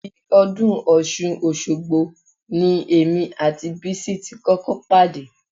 Ibi ọdún Ọ̀ṣun Òṣogbo ni èmi àti Bísí ti kọ́kọ́ pàdé